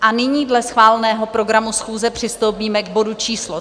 A nyní dle schváleného programu schůze přistoupíme k bodu číslo